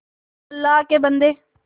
अल्लाह के बन्दे